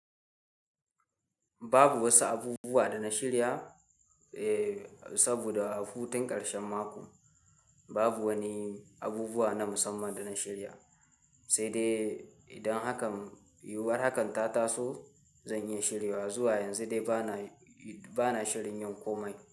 Babu wasu abubuwa da na shirya, eh saboda a futun ƙarshen mako babu wani abubuwa na musamman da na shirya, sai dai idan hakan yiwuwar hakan ta taso, zan iya shiryewa zuwa yanzu dai bana, bana shirin yin komai.